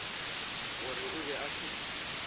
gore o be a se